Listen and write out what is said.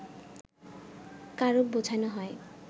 কারক বোঝানো হয়